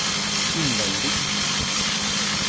invändig